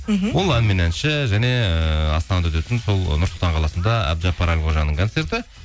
мхм ол ән мен әнші және ыыы астанада өтетін сол нұр сұлтан қаласында әбдіжаппар әлқожаның концерті